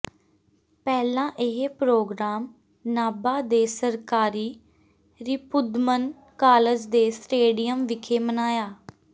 ਪਹਿਲਾਂ ਇਹ ਪੋ੍ਰਗਰਾਮ ਨਾਭਾ ਦੇ ਸਰਕਾਰੀ ਰਿਪੁਦਮਨ ਕਾਲਜ ਦੇ ਸਟੇਡੀਅਮ ਵਿਖੇ ਮਨਾਇਆ